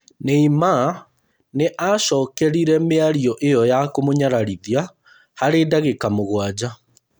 Neymar nĩacokerire mĩario ĩyo ya kũmũnyararithia harĩ ndagĩka mũgwanja